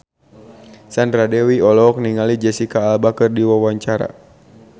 Sandra Dewi olohok ningali Jesicca Alba keur diwawancara